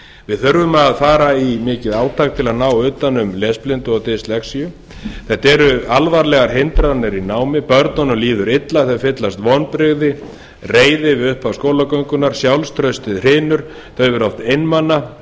við þurfum að fara í mikið átak til að ná utan um lesblindu og dyslexía þetta eru alvarlegar hindranir í námi börnunum líður illa þau fyllast vonbrigðum og reiði við upphaf skólagöngunnar sjálfstraustið hrynur þau verða oft einmana